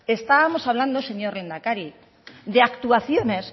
estábamos hablando señor lehendakari de actuaciones